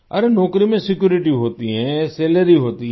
अरे नौकरी में सिक्यूरिटी होती है सैलरी होती है